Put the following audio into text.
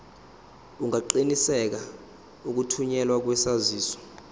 ungaqinisekisa ukuthunyelwa kwesaziso